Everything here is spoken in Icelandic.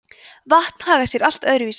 vatn hagar sé allt öðru vísi